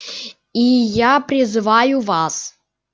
и я призываю вас